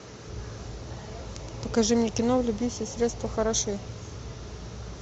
покажи мне кино в любви все средства хороши